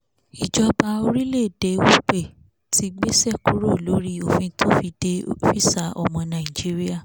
ìjọba orílẹ̀-èdè upe ti gbéṣẹ́ kúrò lórí òfin tó fi de físà ọmọ nàìjíríà